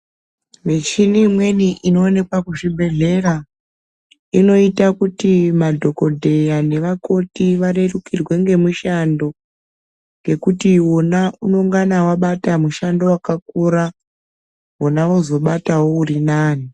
Michini imweni inoonekwa kuzvibhedhlera ,inoite kuti madhokodheya nevakoti varerukirwe ngemushando, ngekuti wona unengana wabata mushando wakakura ,vona vozobatawo uri nani.